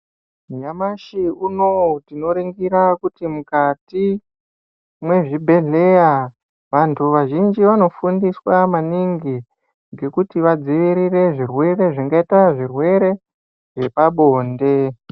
Nyamashi unou tinoningira mukati mwezvibhedheya vanthu vazhinji vanofundiswa maningi ngekuti vadzivirire zvirwere zvingaita zvirwere zvepabonde.